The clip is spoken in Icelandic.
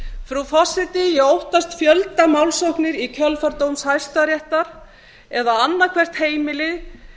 frú forseti ég óttast fjöldamálsóknir í kjölfar dóms hæstaréttar eða annað hvert heimili